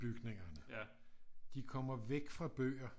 Bygningerne de kommer væk fra bøger